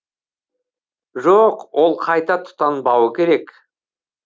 жоқ ол қайта тұтанбауы керек